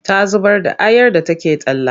Ta zubar da ayar da take talla.